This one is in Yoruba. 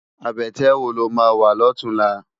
Abètè wó ló má wá lòtúnlá?